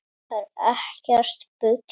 Það er ekkert bull.